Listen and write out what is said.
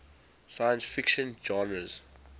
science fiction genres